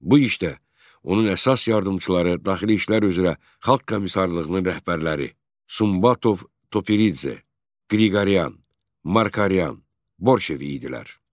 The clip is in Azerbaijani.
Bu işdə onun əsas yardımçıları Daxili İşlər üzrə Xalq Komissarlığının rəhbərləri, Sumbatov, Topuridze, Qriqoryan, Markaryan, Borşev idilər.